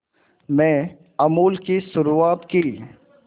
में अमूल की शुरुआत की